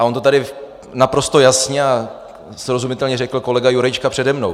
A on to tady naprosto jasně a srozumitelně řekl kolega Jurečka přede mnou.